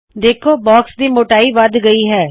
ਦੇੱਖੋ ਕਿ ਬਾਕਸ ਦੀ ਮੋਟਾਈ ਵੱਧ ਗਈ ਹੈ